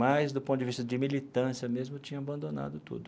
Mas, do ponto de vista de militância mesmo, eu tinha abandonado tudo.